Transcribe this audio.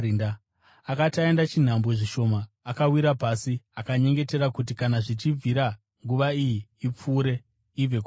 Akati aenda chinhambwe zvishoma, akawira pasi akanyengetera kuti kana zvichibvira nguva iyi ipfuure, ibve kwaari.